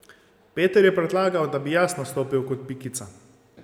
Peter je predlagal, da bi jaz nastopil kot Pikica.